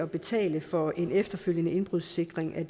betale for en efterfølgende indbrudssikring af